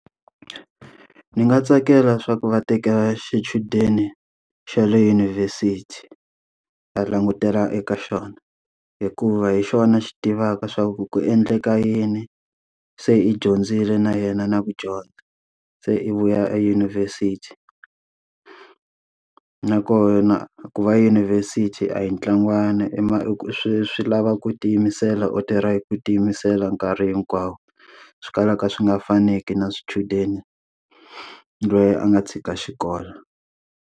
Ni nga tsakela swa ku va tekela xichudeni xa le yunivhesiti, ta langutela eka xona. Hikuva hi xona xi tivaka swa ku ku endleka yini se i dyondzile na yena na ku dyondza, se i vuya eyunivhesiti. nakona ku va eyunivhesiti a hi ntlangwana i ma i ku swi swi lava ku tiyimisela u tirha hi ku tiyimisela nkarhi hinkwawo. Swi kalaka swi nga faneki na swichudeni loyi a nga tshika xikolo.